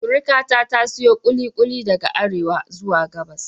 Surikata ta siyo kulikuli daga Arewa zuwa Gabas.